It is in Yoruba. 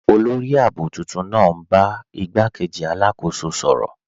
Olórì ààbò tuntun naa n bá igbàkéjì alákóso sọ̀rọ.